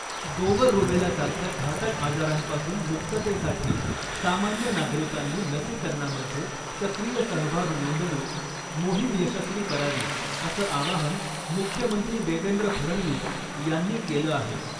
गोवर रुबेला सारख्या घातक आजारांपासून मुक्ततेसाठी सामान्य नागरिकांनी लसीकरणामध्ये सक्रिय सहभाग नोंदवून मोहिम यशस्वी करावी असं आवाहन मुख्यमंत्री देवेंद्र फडणवीस यांनी केलं आहे .